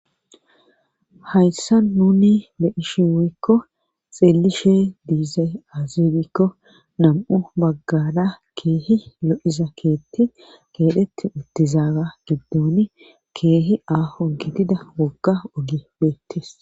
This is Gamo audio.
hayssa nuni be7ishi woykko xeellishe diizay azigikko nam7u baggada keehi lo7iza keetti keedheti uttizaaga giddon keehi aaho gidida wogga ogi beettes